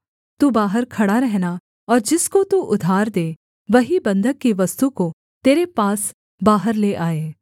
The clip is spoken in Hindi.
तू बाहर खड़ा रहना और जिसको तू उधार दे वही बन्धक की वस्तु को तेरे पास बाहर ले आए